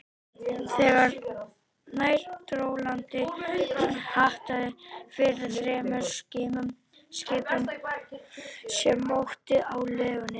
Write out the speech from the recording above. Þegar nær dró landi, hattaði fyrir þremur skipum, sem móktu á legunni.